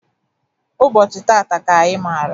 Ụbọchị tata ka anyị mara